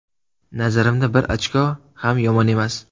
Nazarimda bir ochko ham yomon emas.